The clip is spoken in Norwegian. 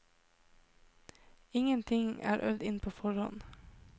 Ingenting er øvd inn på forhånd.